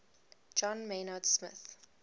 john maynard smith